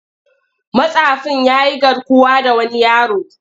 Matsafin ya yi garkuwa da wani yaro.